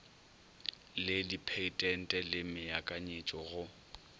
le dipheitente le meakanyetšo go